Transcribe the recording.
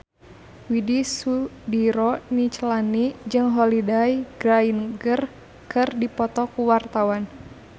Widy Soediro Nichlany jeung Holliday Grainger keur dipoto ku wartawan